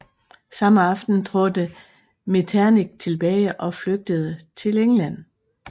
Samme aften trådte Metternich tilbage og flygtede til England